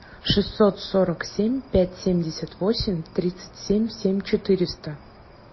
шестьсот сорок семь пять семьдесят восемь тридцать семь семь четыреста